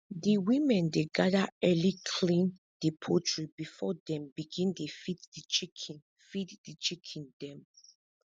di women dey gather early clean di poultry before dem begin dey feed di chicken feed di chicken dem